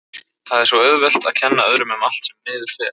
Það er svo auðvelt að kenna öðrum um allt sem miður fer.